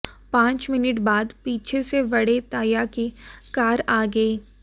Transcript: पांच मिनट बाद पीछे से बड़े ताया की कार आ गई